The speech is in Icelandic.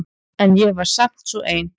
En ég var samt svo ein.